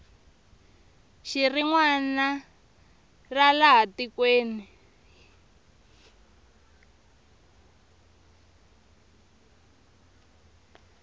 rin wana ra laha tikweni